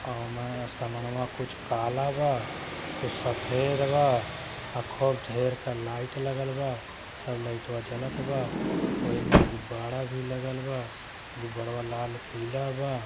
ओवे समनवा में कुछ काला बा। कुछ सफ़ेद बा। अ खूब ढेर क लाइट लगल बा। सब लाइटवा जलत बा। वोहीई में गुब्बाड़ा भी लगल बा। गुब्बाड़ा लाल पिला बा।